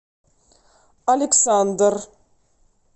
александр